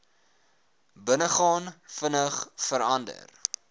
binnegaan vinnig verander